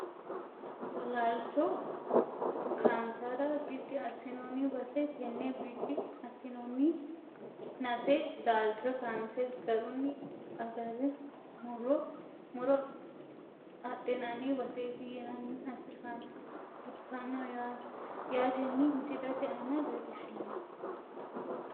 Laalcho kaansara bidi asinooni base tene bidi asinooni nase laalcho kaanse garuni agare muro adhinani baseeti yinaniha ikano yaateni misilete aana leelishano.